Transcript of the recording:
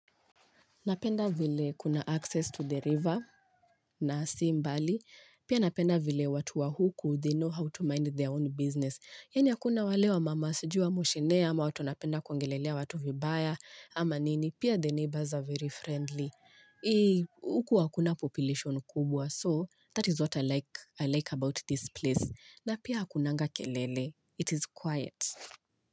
Napenda vile kuna access to the river na si mbali. Pia napenda vile watu wa huku, they know how to mind their own business. Yani akuna wale wa mama sijui wa moshenee, ama watu napenda kuongelelea watu vibaya, ama nini. Pia the neighbors are very friendly. Huku wakuna population kubwa, so that is what I like about this place. Na pia hakunanga kelele. It is quiet.